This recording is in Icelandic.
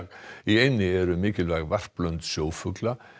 í eynni eru mikilvæg varplönd sjófugla